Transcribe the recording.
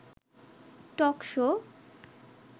talk show